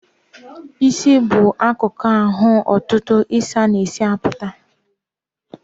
Ịsị bụ akụkụ ahụ ntụtụ isis na-esi apụta.